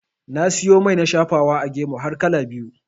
Na siyo mai na shafawa a gemu har kala biyu.